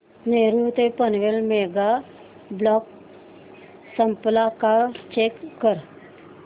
नेरूळ ते Panvel mega block संपला का चेक कर